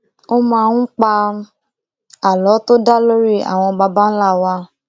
ó máa ń pa àlọ tó dá lórí àwọn baba ńlá wa